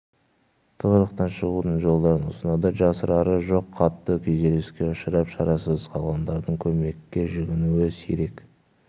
тығырықтан шығудың жолдарын ұсынады жасырары жоқ қатты күйзеліске ұшырап шарасыз қалғандардың көмекке жүгінуі сирек